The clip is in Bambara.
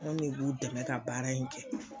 An ne b'u dɛmɛ ka baara in kɛ